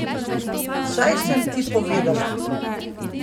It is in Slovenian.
Saj sem ti povedala.